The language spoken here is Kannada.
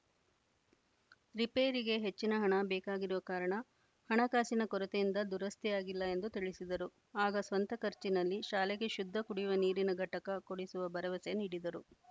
ರಿಪೇರಿಗೆ ಹೆಚ್ಚಿನ ಹಣ ಬೇಕಾಗಿರುವ ಕಾರಣ ಹಣಕಾಸಿನ ಕೊರತೆಯಿಂದ ದುರಸ್ತಿಯಾಗಿಲ್ಲ ಎಂದು ತಿಳಿಸಿದರು ಆಗ ಸ್ವಂತ ಖರ್ಚಿನಲ್ಲಿ ಶಾಲೆಗೆ ಶುದ್ಧ ಕುಡಿಯುವ ನೀರಿನ ಘಟಕ ಕೊಡಿಸುವ ಭರವಸೆ ನೀಡಿದರು